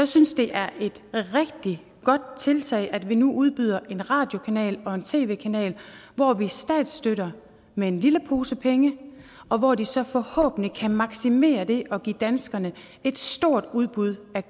synes det er et rigtig godt tiltag at vi nu udbyder en radiokanal og en tv kanal hvor vi statsstøtter med en lille pose penge og hvor de så forhåbentlig kan maksimere det og give danskerne et stort udbud med